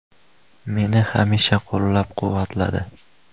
Meni hamisha qo‘llab-quvvatladi.